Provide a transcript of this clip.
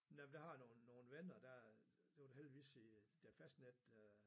Nej men der har jeg nogen nogen venner der det var da heldigvis i da fastnet hø